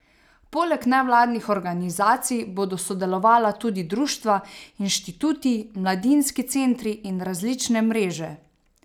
Poleg nevladnih organizacij bodo sodelovala tudi društva, inštituti, mladinski centri in različne mreže.